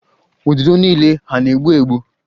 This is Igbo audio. Ududo niile hà na-egbu egbu?